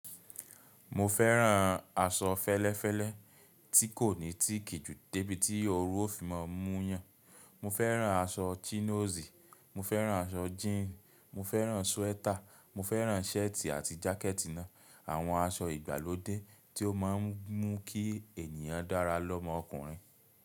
Mo fẹ́ràn aṣọ fẹ́lẹ́fẹ́lẹ́ tí kò ní tíìkì ju débi tí ooru ó fi má a mú yán. Mo fẹ́ràn aṣọ chinos, mo fẹ́ràn aṣọ jíìǹ, mo fẹ́ràn súwétà, mo fẹ́ràn shẹ́ẹ̀tì àti jákẹ̀tì náà. Àwọn aṣọ ìgbàlódé tí ó máa ń mú kí ènìyàn dára lọmọkùnrin.